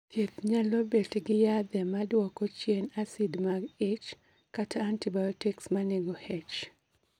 Thieth nyalo bet gi yathe ma duoko chien acid mag ich, kata antibiotics ma nego H